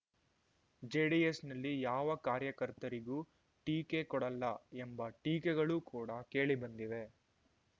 JDS ನಲ್ಲಿ ಯಾವ ಕಾರ್ಯಕರ್ತರಿಗೂ ಟೀಕೆ ಕೊಡಲ್ಲ ಎಂಬ ಟೀಕೆಗಳು ಕೂಡ ಕೇಳಿ ಬಂದಿವೆ